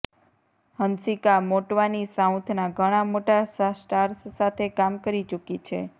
હંસિકા મોટવાની સાઉથના ઘણા મોટા સ્ટાર્સ સાથે કામ કરી ચુકી છે